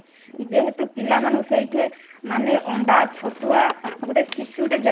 ଯେହେତୁ ପିଲାମାନେ ସେଇଠି ମାନେ ଅଣ୍ଡା ଛତୁଆ ଗୋଟେ ଶିଶୁ ଟେ